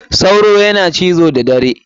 Sauro yana cizo da da dare.